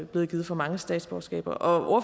blevet givet for mange statsborgerskaber og